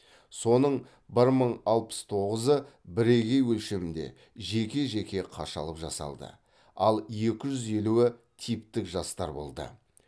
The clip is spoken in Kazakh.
соның бір мың алпыс тоғызы бірегей өлшемде жеке жеке қашалып жасалды ал екі жүз елуі типтік жастар болды